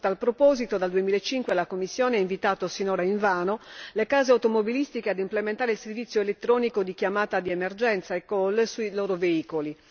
A tal proposito, dal 2005 la Commissione ha invitato, sinora invano, le case automobilistiche ad implementare il servizio elettronico di chiamata di emergenza eCall sui loro veicoli.